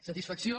satisfacció